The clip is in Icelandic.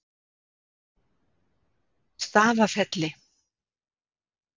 Stafafelli